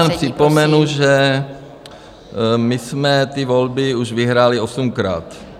Já jenom připomenu, že my jsme ty volby už vyhráli osmkrát.